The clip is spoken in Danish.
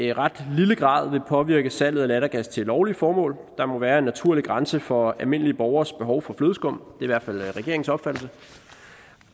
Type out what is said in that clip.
i ret lille grad vil påvirke salget af lattergas til lovlige formål der må være en naturlig grænse for almindelige borgeres behov for flødeskum det i hvert fald regeringens opfattelse